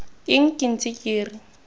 eng ke ntse ke re